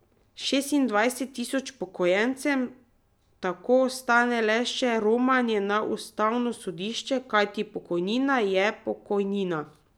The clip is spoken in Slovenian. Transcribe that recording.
Šestindvajset tisoč upokojencem tako ostane le še romanje na ustavno sodišče, kajti pokojnina je pokojnina.